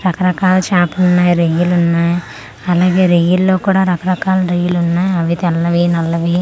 రకరకాల చేపలున్నాయి రొయ్యలు ఉన్నాయి అలాగే రొయ్యల్లో కూడా రకరకాల రొయ్యలు ఉన్నాయి అవి తెల్లవి నల్లవి.